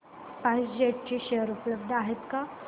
spice jet चे share उपलब्ध आहेत का